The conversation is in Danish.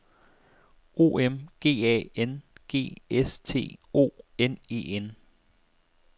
O M G A N G S T O N E N